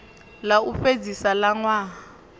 ḽa u fhedzisa ḽa ṅwaha